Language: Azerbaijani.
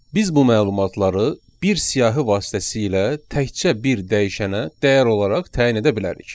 Biz bu məlumatları bir siyahı vasitəsilə təkcə bir dəyişənə dəyər olaraq təyin edə bilərik.